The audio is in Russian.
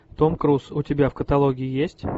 том круз у тебя в каталоге есть